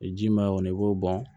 Ji ma y'o kɔnɔ i b'o bɔn